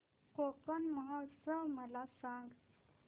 कोकण महोत्सव मला सांग